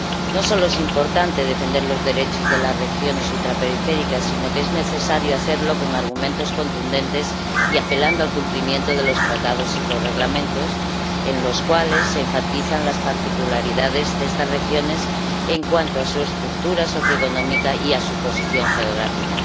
No solo es importante defender los derechos de las regiones ultraperiféricas, sino que es necesario hacerlo con argumentos contundentes y apelando al cumplimiento de los Tratados y los Reglamentos, en los cuales se enfatizan las particularidades de estas regiones en cuanto a su estructura socioeconómica y a su posición geográfica.